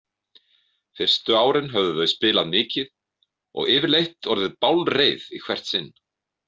Fyrstu árin höfðu þau spilað mikið og yfirleitt orðið bálreið í hvert sinn.